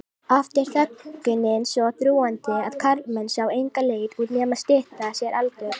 Oft er þöggunin svo þrúgandi að karlmenn sjá enga leið út nema stytta sér aldur.